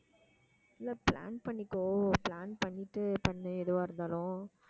இல்ல plan பண்ணிக்கோ plan பண்ணிட்டு பண்ணு எதுவா இருந்தாலும்